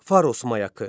Faros mayakı.